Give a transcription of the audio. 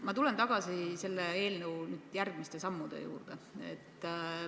Ma tulen tagasi selle eelnõu järgmiste sammude juurde.